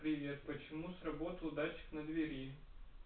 привет почему сработал датчик на двери